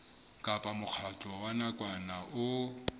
kapa mokgatlo wa nakwana o